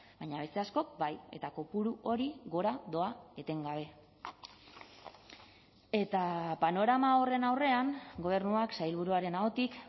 baina beste askok bai eta kopuru hori gora doa etengabe eta panorama horren aurrean gobernuak sailburuaren ahotik